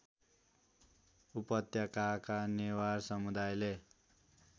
उपत्यकाका नेवार समुदायले